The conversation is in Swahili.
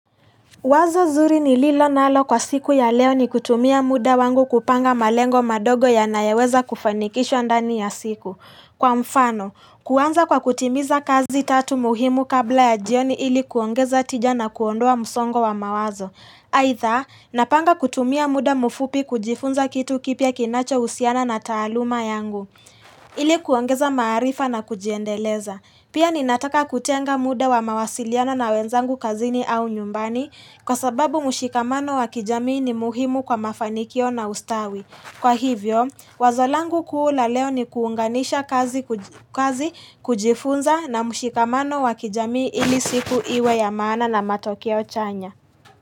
Wazo zuri nililo nalo kwa siku ya leo ni kutumia muda wangu kupanga malengo madogo yanayoweza kufanikishwa ndani ya siku. Kwa mfano, kuanza kwa kutimiza kazi tatu muhimu kabla ya jioni ili kuongeza tija na kuondoa msongo wa mawazo. Aidha, napanga kutumia muda mfupi kujifunza kitu kipya kinachohusiana na taaluma yangu. Ili kuongeza maarifa na kujiendeleza. Pia ninataka kutenga muda wa mawasiliano na wenzangu kazini au nyumbani kwa sababu mshikamano wa kijamii ni muhimu kwa mafanikio na ustawi. Kwa hivyo, wazo langu kuu la leo ni kuunganisha kazi kujifunza na mshikamano wa kijamii ili siku iwe ya maana na matokeo chanya.